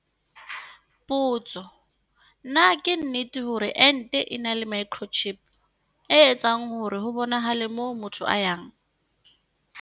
Potso-Na ke nnete hore ente e na le microchip, e etsang hore ho bonahale moo motho a yang?